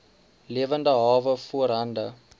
lewende hawe voorhande